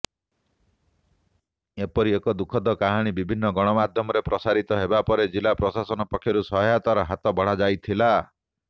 ଏପରି ଏକ ଦୁଃଖଦ କାହାଣୀ ବିଭିନ୍ନ ଗଣମାଧ୍ୟମରେ ପ୍ରସାରିତ ହେବାପରେ ଜିଲା ପ୍ରଶାସନ ପକ୍ଷରୁ ସହାୟତାର ହାତ ବଢ଼ାଯାଇଥିଲା